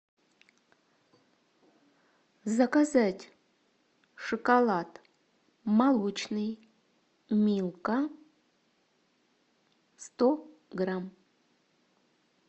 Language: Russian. заказать шоколад молочный милка сто грамм